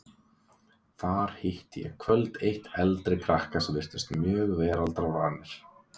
Þar hitti ég kvöld eitt eldri krakka sem virtust mjög veraldarvanir.